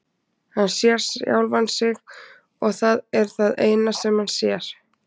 Hann sér sjálfan sig og það er það eina sem hann sér.